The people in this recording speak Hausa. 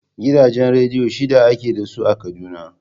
Gidajen rediyo shida ake da su a Kaduna.